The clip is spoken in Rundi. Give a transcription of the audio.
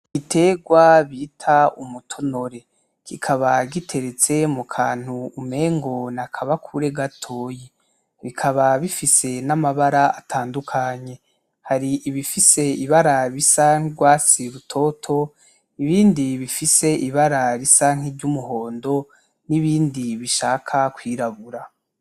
Igiterwa bita umutonoore, kikaba giteretse mu kantu umengo n'akabakure gatoyi, bikaba bifise amabara atandukanye. hari ibifise ibara risa n'urwatsi rutoto, ibindi bifise ibara risa n'iryumuhondo n'ibindi bishaka kwirabura.